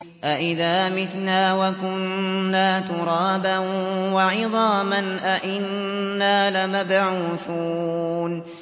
أَإِذَا مِتْنَا وَكُنَّا تُرَابًا وَعِظَامًا أَإِنَّا لَمَبْعُوثُونَ